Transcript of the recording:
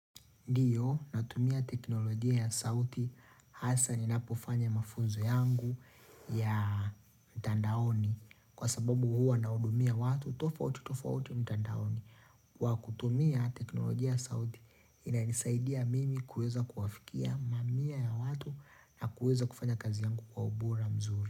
Natumia teknolojia ya sauti hasa ninapofanya mafunzo yangu ya mtandaoni kwa sababu huwa nahudumia watu tofautitofauti mtandaoni kwa kutumia teknolojia ya sauti inanisaidia mimi kuweza kuwafikia mamia ya watu na kuweza kufanya kazi yangu kwa ubora mzuri.